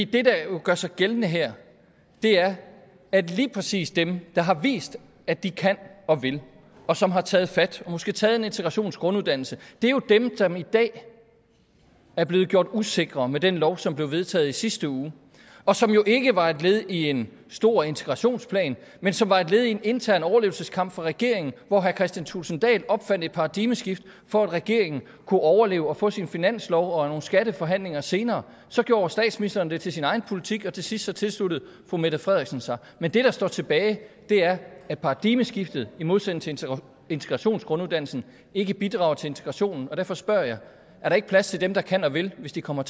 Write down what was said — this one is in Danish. det der jo gør sig gældende her er at lige præcis dem der har vist at de kan og vil og som har taget fat og måske taget en integrationsgrunduddannelse er jo dem som i dag er blevet gjort usikre med den lov som blev vedtaget i sidste uge og som jo ikke var et led i en stor integrationsplan men som var et led i en intern overlevelseskamp for regeringen hvor herre kristian thulesen dahl opfandt et paradigmeskifte for at regeringen kunne overleve og få sin finanslov og nogle skatteforhandlinger senere så gjorde statsministeren det til sin egen politik og til sidst tilsluttede fru mette frederiksen sig men det der står tilbage er at paradigmeskiftet i modsætning til integrationsgrunduddannelsen ikke bidrager til integrationen og derfor spørger jeg er der ikke plads til dem der kan og vil hvis de kommer